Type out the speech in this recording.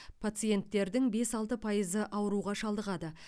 пациенттердің бес алты пайызы ауруға шалдығады